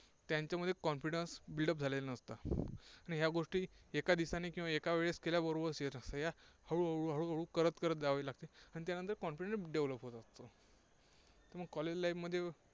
त्यांच्यामध्ये confidence build up झालेलं नसतं. या गोष्टी एका दिवसाने एका वेळेस केल्याबरोबर होत नसतं. या हळूहळू करत करत जावे लागते. आणि त्यानंतर Confidence develop होतो. college life मध्ये